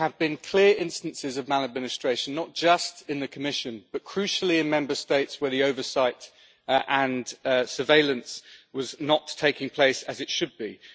There have been clear instances of maladministration not just in the Commission, but crucially in Member States, where the oversight and surveillance were not taking place as they should have been.